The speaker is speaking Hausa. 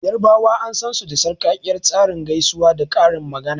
Yarbawa an sansu da sarkakkiyar tsarin gaisuwa da karin magana.